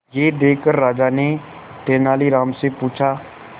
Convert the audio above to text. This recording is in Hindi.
यह देखकर राजा ने तेनालीराम से पूछा